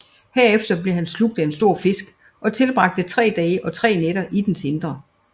Herefter blev han slugt af en stor fisk og tilbragte tre dage og tre nætter i dens indre